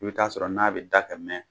I bi t'a sɔrɔ n'a bi da ka mɛn.